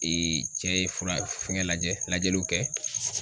cɛ ye fura fɛngɛ la . Lajɛliw kɛ.